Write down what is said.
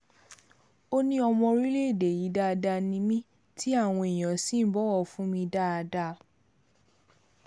ó ní ọmọ orílẹ̀-èdè yìí dáadáa ni mí tí àwọn èèyàn sì ń bọ̀wọ̀ fún mi dáadáa